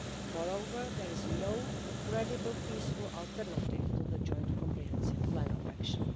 Moreover, there is no credible peaceful alternative to the Joint Comprehensive Plan of Action.